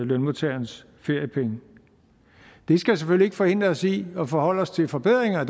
lønmodtagernes feriepenge det skal selvfølgelig ikke forhindre os i at forholde os til forbedringer